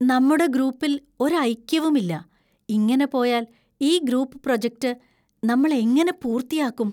നമ്മുടെ ഗ്രൂപ്പിൽ ഒരു ഐക്യവും ഇല്ല; ഇങ്ങനെ പോയാൽ ഈ ഗ്രൂപ്പ് പ്രൊജക്ട് നമ്മൾ എങ്ങനെ പൂർത്തിയാക്കും?